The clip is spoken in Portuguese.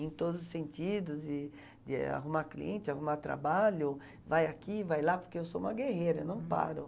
Em todos os sentidos, de de arrumar cliente, arrumar trabalho, vai aqui, vai lá, porque eu sou uma guerreira, eu não paro.